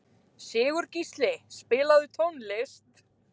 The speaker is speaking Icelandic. Sigurgísli, spilaðu tónlist.